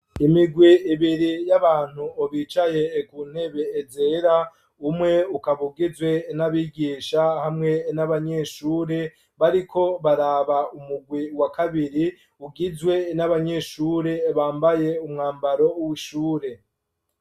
Imigwi ibiri y'abantu bicaye ku ntebe zera, umwe ukaba ugizwe n'abigisha hamwe n'abanyeshure, bariko baraba umugwi wa kabiri ugizwe n'abanyeshure bambaye umwambaro w'ishure.